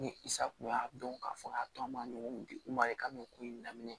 Ni sa kun y'a dɔn k'a fɔ k'a to an m'a ɲɔgɔn di u ma i ka don ko in na